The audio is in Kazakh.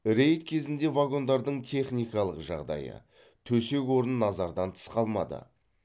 рейд кезінде вагондардың техникалық жағдайы төсек орын назардан тыс қалмады